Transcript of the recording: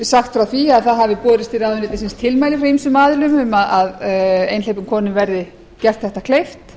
sagt frá því að það hafi borist til ráðuneytisins tilmæli frá ýmsum aðilum um að einhleypum konum verði gert þetta kleift